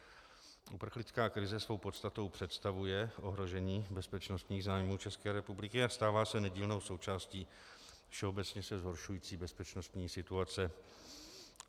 Uprchlická krize svou podstatou představuje ohrožení bezpečnostních zájmů České republiky a stává se nedílnou součástí všeobecně se zhoršující bezpečnostní situace.